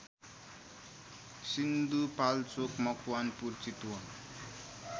Sindhupalchok Makwanpur Chitwan